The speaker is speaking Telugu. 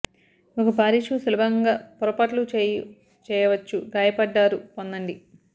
ఒక భారీ షూ సులభంగా పొరపాట్లు చేయు చేయవచ్చు గాయపడ్డారు పొందండి